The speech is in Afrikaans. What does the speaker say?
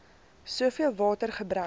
soveel water gebruik